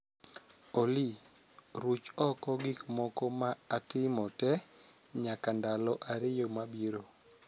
Olly, ruch oko gik moko ma atimo tee nyaka ndalo ariyo mabiro